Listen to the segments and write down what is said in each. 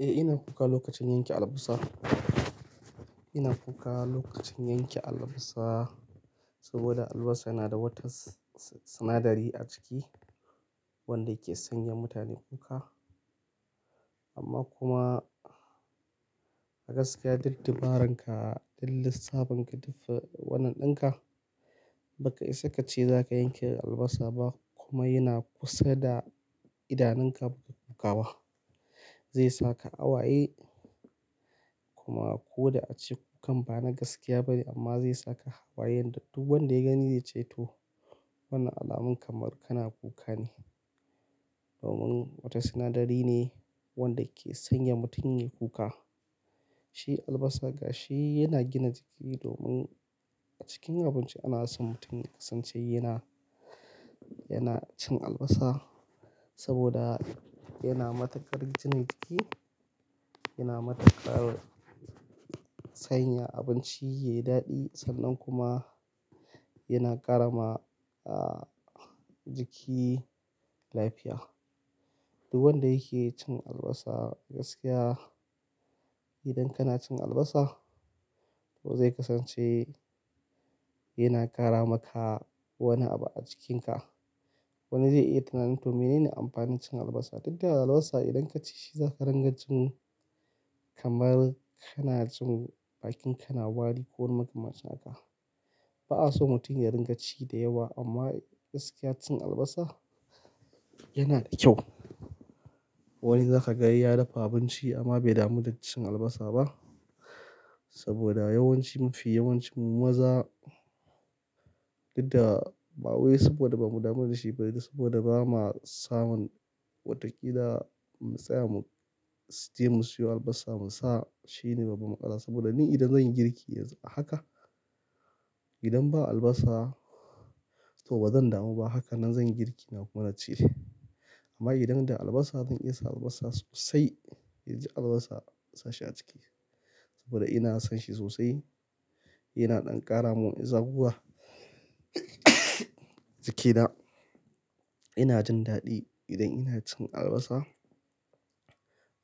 Eh, ina kuka lokacin yanke albasa. Ina kuka lokacin yanke albasa saboda albasa yana da wata sinadari a ciki wadda ke sanya mutane kuka. Amma kuma a gaskiya, duk dabararka, duk lissafin ka duk wannan ɗanka. Baka isa ka ce za ka yanke albasa ba kuma yana kusa da idanunka kuka ba, zai saka hawaye. Kuma ko da a ce kukan ba na gaskiya ba ne amma zai saka hawayen duk wanda ya gani ya ce to wannan alamun kamar kana kuka ne. Domin wata sinadari ne wadda ke sanya mutum ya kuka. Amma kuma a gaskiya, duk dabararka, duk lissafin ka duk wannan ɗinka. Baka isa ka ce za ka yanke albasa ba kuma yana kusa da idanunka kuka ba, zai saka awaye. Sanya abinci yayi daɗi sannan kuma yana ƙara ma jiki lafiya. Duk wanda yake cin albasa a gaskiya, idan kana cin albasa to zai kasance yana ƙara maka wani abu a jikinka. Wani zai yi tunanin to menene amfanin cin albasa? Dak da albasa idan ka ci shi za ka ringa jin kamar kana jin bakin ka na wari ko ko makamancin haka. Ba a so mutum ya ringa ci da yawa amma gaskiya cin albasa yana da kyau. Wani zaka ga ya dafa abinci amma bai damu da cin albasa ba saboda yawancin mu, fi yawancin mu maza, dukda ba wai saboda ba mu damu da shi ba dai saboda ba ma samun watakila mu tsaya mu je mu siyo albasa mu sa. Shi ne babu maƙara saboda ni idan zan yi girki yanzu haka, idan ba albasa to bazan damu ba. Haka nan zan yi girki na kuma na ci. Amma idan da albasa, zan iya sa albasa sosai, in ji albasa na sashi a ciki saboda ina son shi sosai. Yana ɗan ƙara mun zaguwa jikina. Ina jin daɗi idan ina cin albasa.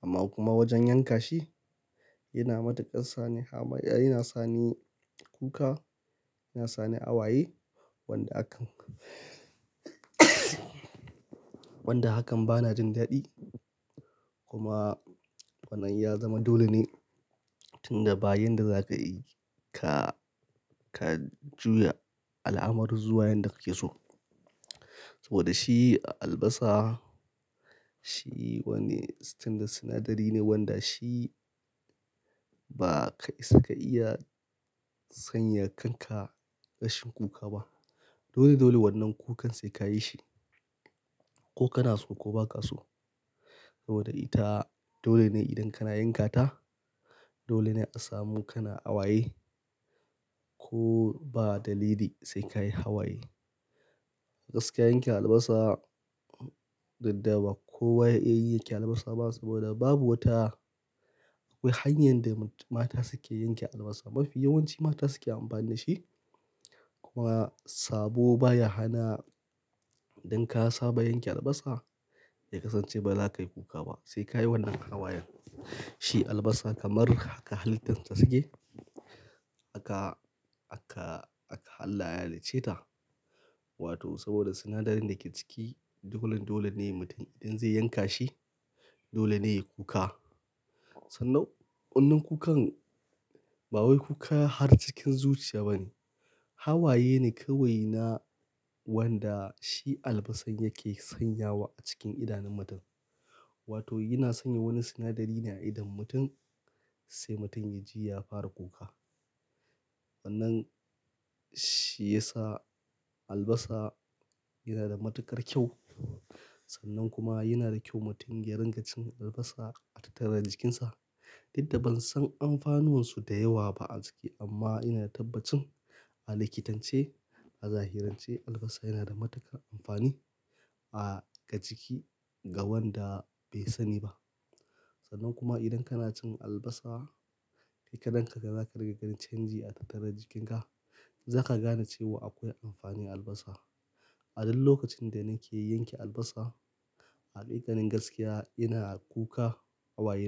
Amma kuma wajen yanka shi yana matukar sani hama, yana sani kuka, yana sani awaye wanda hakan, wanda hakan ba na jin daɗi. Kuma wannan ya zama dole ne tun da ba yanda za ka yi ka, ka juya al'amurun zuwa yanda kake so. Saboda shi albasa shi wani standard sinadari ne wanda shi ba ka isa ka iya sanya kanka rashin kuka ba. Dole dole wannan kukan sai ka yi shi, ko kana so ko ba ka so. Saboda ita dole ne idan kana yankata, dole ne a samu kana awaye ko ba dalili sai ka yi hawaye. A gaskiya yanke albasa, duk da ba kowa ya iya yanke albasa ba saboda babu wata, akwai hanyar da mata suke yanke albasa. Mafi yawanci mata suke amfani da shi. Kuma sabo baya hana. Idan ka saba yanke albasa, ya kasance ba za ka yi kuka ba, sai ka yi wannan hawayen. Shi albasa kamar haka halittan ta suke. Haka, haka, haka Allah ya halicce ta. Wato saboda sinadarin da ke ciki, dolen dole ne mutum idan zai yanka shi, dole ne ya kuka. Sannan wannan kukan ba wai kuka har cikin zuciya ba ne. Hawaye ne kawai na wanda shi albasan yake sanyawa a cikin idanun mutum. Wato yana sanya wani sinadari ne a idan mutum sai mutum ya ji ya fara kuka. Wannan shi ya sa albasa yana da matukar kyau. Sannan kuma yana da kyau mutum ya ringa cin albasa a tattara da jikinsa. Duk da ban san amfanin su da yawa ba a jiki amma ina da tabbacin a likitance, a zahirance, albasa yana da matuƙar amfani ga jiki ga wanda bai sani ba. Sannan kuma idan kana cin albasa, kai karan kanka za ka riƙa ganin canji a tattara jikinka. Za ka gane cewa akwai amfani a albasa. A duk lokacin da nake yanke albasa, a hakikanin gaskiya ina kuka awaye.